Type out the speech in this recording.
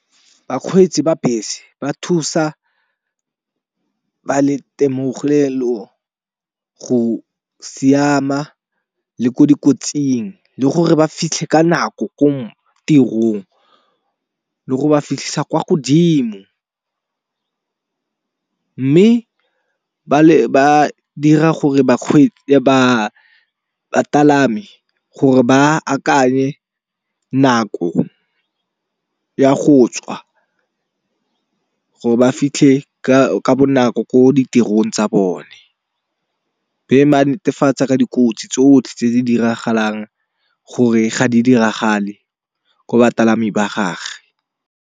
Bakgweetsi ba bese ba thusa ba le itemogelo go siama le ko dikotsing le gore ba fitlhe ka nako ko tirong le go ba fitlhisa kwa godimo. Mme ba le ba dira gore ba bapalami gore ba akanye nako ya go tswa gore ba fitlhe ka bonako ko ditirong tsa bone. Ba netefatsa ka dikotsi tsotlhe tse di diragalang gore ga di diragale ko bapalami ba gage.